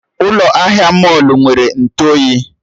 Ụlọ ahịa mọlụ nwere Ntụ oyi